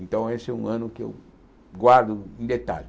Então esse é um ano que eu guardo em detalhe.